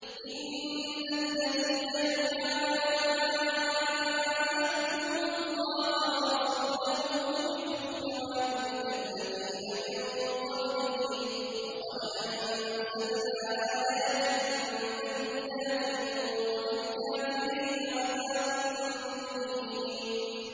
إِنَّ الَّذِينَ يُحَادُّونَ اللَّهَ وَرَسُولَهُ كُبِتُوا كَمَا كُبِتَ الَّذِينَ مِن قَبْلِهِمْ ۚ وَقَدْ أَنزَلْنَا آيَاتٍ بَيِّنَاتٍ ۚ وَلِلْكَافِرِينَ عَذَابٌ مُّهِينٌ